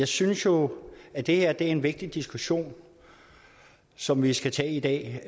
synes jo at det her er en vigtig diskussion som vi skal tage i dag